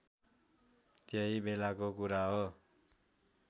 त्यही बेलाको कुरा हो